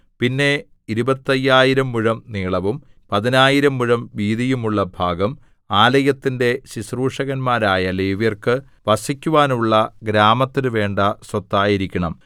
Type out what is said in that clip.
പിന്നെ ഇരുപത്തയ്യായിരം മുഴം നീളവും പതിനായിരം മുഴം വീതിയും ഉള്ള ഭാഗം ആലയത്തിന്റെ ശുശ്രൂഷകന്മാരായ ലേവ്യർക്കു വസിക്കുവാനുള്ള ഗ്രാമത്തിനു വേണ്ട സ്വത്തായിരിക്കണം